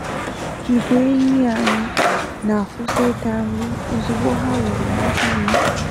Igwe enyi anyị na akwụsị ịta nri ozugbo ha ruru na iyi